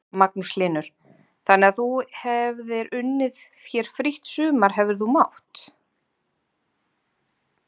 Magnús Hlynur: Þannig að þú hefðir unnið hér frítt sumar hefðir þú mátt?